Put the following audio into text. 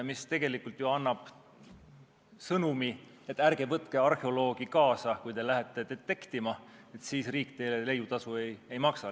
See tegelikult ju annab sõnumi, et ärge võtke arheoloogi kaasa, kui te lähete detektima, siis riik teile leiutasu ei maksa.